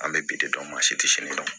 An bɛ bi de dɔn maa si tɛ si dɔn